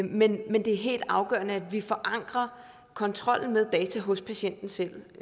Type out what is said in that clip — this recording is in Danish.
men men det er helt afgørende at vi forankrer kontrollen med data hos patienten selv